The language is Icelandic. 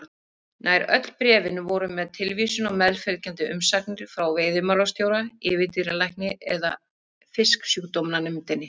Nær öll bréfin voru með tilvísun á meðfylgjandi umsagnir frá veiðimálastjóra, yfirdýralækni eða Fisksjúkdómanefndinni.